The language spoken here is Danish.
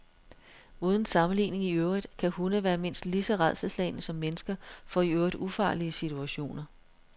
Uden sammenligning i øvrigt kan hunde være mindst lige så rædselsslagne som mennesker for i øvrigt ufarlige situationer.